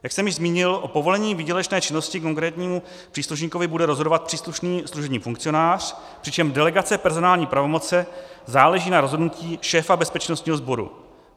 Jak jsem již zmínil, o povolení výdělečné činnosti konkrétnímu příslušníkovi bude rozhodovat příslušný služební funkcionář, přičemž delegace personální pravomoci záleží na rozhodnutí šéfa bezpečnostního sboru.